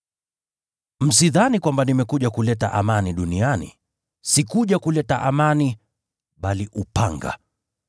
“Msidhani kwamba nimekuja kuleta amani duniani. Sikuja kuleta amani bali upanga.